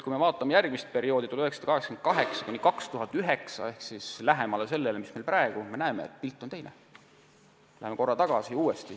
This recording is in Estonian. Kui vaatame järgmist perioodi, 1988–2009 ehk praegusele lähemat aega, siis näeme, et pilt on teine.